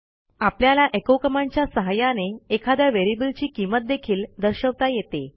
आपल्याला echo command च्या सहाय्याने एखाद्या व्हेरिएबल ची किंमत देखील दर्शवता येते